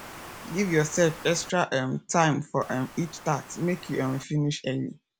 give yourself extra um time for um each task make you um finish early